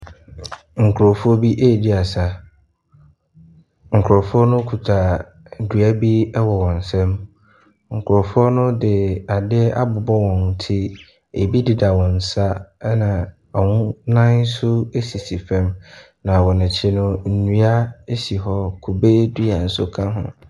Nkurɔfoɔ bi ɛredi asa. Nkurɔfoɔ no kita dua bi wɔ wɔn nsa mu. Nkurɔfoɔ no de ade abobɔ eɔn ti. Ɛbi deda wɔn nsa na wɔn nan nso sisi fam. Na wɔn akyi no, nnua sisi hɔ, kube dua nso ka ho.